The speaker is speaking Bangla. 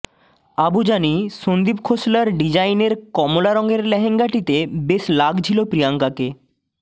আবু জানি সন্দীপ খোসলার ডিজাইনের কমলা রঙের লেহেঙ্গাটিতে বেশ লাগছিল প্রিয়াঙ্কাকে